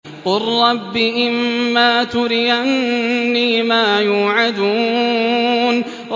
قُل رَّبِّ إِمَّا تُرِيَنِّي مَا يُوعَدُونَ